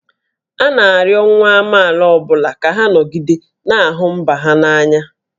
A na-arịọ nwa amaala ọ bụla ka ha nọgide na-ahụ mba ha n'anya